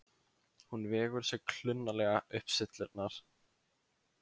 Hún vegur sig klunnalega upp syllurnar.